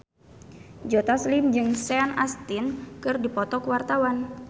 Joe Taslim jeung Sean Astin keur dipoto ku wartawan